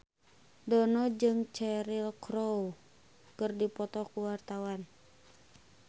Dono jeung Cheryl Crow keur dipoto ku wartawan